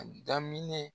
A daminɛ